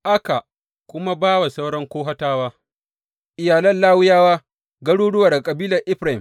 Aka kuma ba wa sauran Kohatawa, iyalan Lawiyawa, garuruwa daga kabilar Efraim.